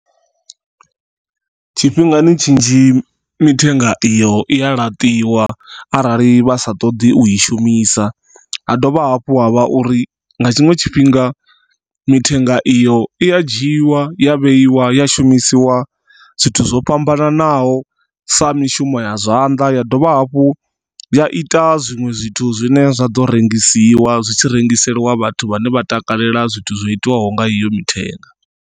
Tshifhingani tshinzhi mithenga iyo i a laṱiwa arali vha sa ṱoḓi u i shumisa ha dovha hafhu ha vha uri nga tshiṅwe tshifhinga mithenga iyo i ya dzhiwa ya vheiwa ya shumisiwa zwithu zwo fhambananaho, sa mishumo ya zwanḓa ya dovha hafhu ya ita zwiṅwe zwithu zwine zwa ḓo rengisiwa zwitshi rengiseliwa vhathu vhane vha takalela zwithu zwo itiwaho nga iyo mithenga.